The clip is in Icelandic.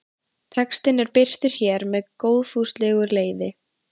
Textinn er birtur hér með góðfúslegu leyfi.